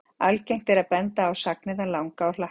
Algengt er að benda á sagnirnar langa og hlakka.